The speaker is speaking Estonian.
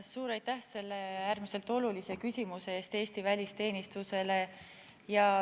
Suur aitäh selle Eesti välisteenistusele äärmiselt olulise küsimuse eest!